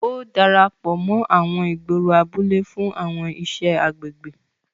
O darapọ mọ àwọn ìgboro abúlé fún àwọn iṣẹ agbègbè.